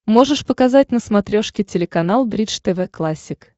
можешь показать на смотрешке телеканал бридж тв классик